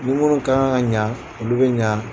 Ni munnu ka kan ka ɲa olu bɛ ɲa.